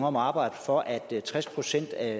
om at arbejde for at tres procent af